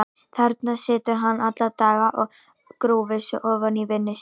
Þarna situr hann alla daga og grúfir sig ofan í vinnu sína.